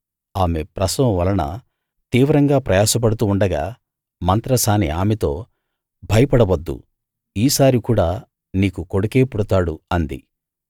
ఆమె ప్రసవం వలన తీవ్రంగా ప్రయాసపడుతూ ఉండగా మంత్రసాని ఆమెతో భయపడ వద్దు ఈ సారి కూడా నీకు కొడుకే పుడతాడు అంది